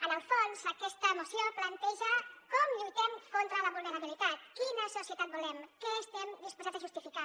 en el fons aquesta moció planteja com lluitem contra la vulnerabilitat quina societat volem què estem disposats a justificar